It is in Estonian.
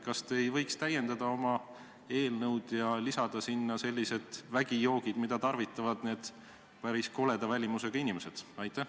Kas te ei võiks oma eelnõu täiendada ja lisada sinna sellised vägijoogid, mida tarvitavad need päris koleda välimusega inimesed?